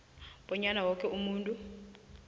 bonyana woke umuntu